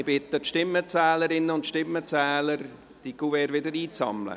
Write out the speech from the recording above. Ich bitte die Stimmenzählerinnen und Stimmenzähler, die Kuverts wieder einzusammeln.